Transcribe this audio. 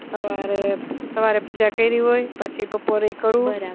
સવારે સવારે પૂજા કયરી હોય પછી બપોરેય કરું